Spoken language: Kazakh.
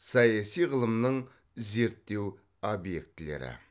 саяси ғылымның зерттеу объектілері